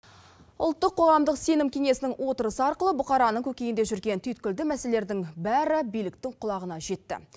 ұлттық қоғамдық сенім кеңесінің отырысы арқылы бұқараның көкейінде жүрген түйткілді мәселелердің бәрі биліктің құлағына жетті